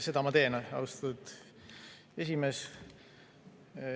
Seda ma teen, austatud esimees.